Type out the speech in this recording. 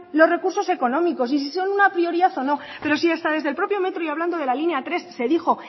los recursos económicos y sí son una prioridad o no pero si hasta desde el propio metro y hablando de la línea tres se dijo